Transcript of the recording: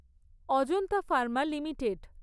Ajanta pharma limited